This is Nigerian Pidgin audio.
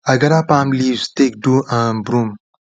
i gather palm leaves take do um broom